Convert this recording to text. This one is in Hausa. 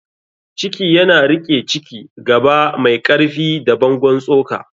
ciki yana riƙe Ciki: Gaba mai ƙarfi da bangon tsoka.